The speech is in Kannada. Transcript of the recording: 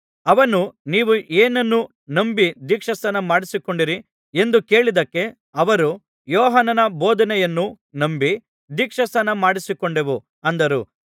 ಅವನು ನೀವು ಏನನ್ನು ನಂಬಿ ದೀಕ್ಷಾಸ್ನಾನ ಮಾಡಿಸಿಕೊಂಡಿರಿ ಎಂದು ಕೇಳಿದ್ದಕ್ಕೆ ಅವರು ಯೋಹಾನನ ಬೋಧನೆಯನ್ನು ನಂಬಿ ದೀಕ್ಷಾಸ್ನಾನಮಾಡಿಸಿಕೊಂಡೆವು ಅಂದರು